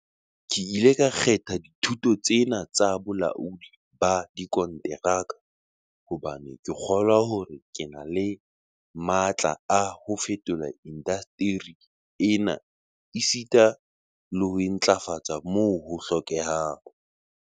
"Ke ile ka kgetha dithuto tsena tsa bolaodi ba dikonteraka hobane ke kgolwa hore ke na le matla a ho fetola indasteri ena esita le ho e ntlafatsa moo ho hlokehang."